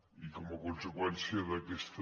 i com a conseqüència d’aquesta